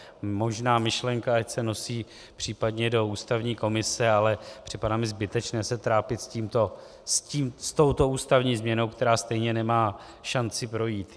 Možná myšlenka ať se nosí případně do ústavní komise, ale připadá mi zbytečné se trápit s touto ústavní změnou, která stejně nemá šanci projít.